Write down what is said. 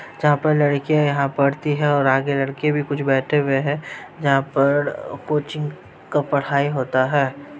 जहाँ पर लड़कियाँ यहाँ पढ़ती हैं और आगे लड़के भी कुछ बैठे हुऐ हैं जहाँ पर कोचिंग का पढ़ाई होता है।